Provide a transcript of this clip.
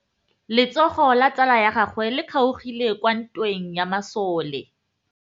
Letsôgô la tsala ya gagwe le kgaogile kwa ntweng ya masole.